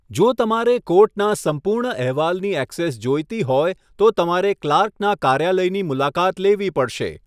જો તમારે કોર્ટના સંપૂર્ણ અહેવાલની ઍક્સેસ જોઈતી હોય, તો તમારે ક્લાર્કના કાર્યાલયની મુલાકાત લેવી પડશે.